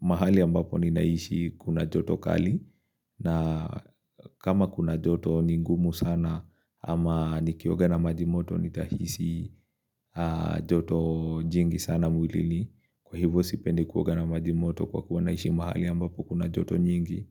mahali ambapo ninaishi kuna joto kali na kama kuna joto ni ngumu sana ama nikioga na maji moto nitahisi joto jingi sana mwilini kwa hivyo sipendi kuoga na majimoto kwa kuwa naishi mahali ambapo kuna joto nyingi.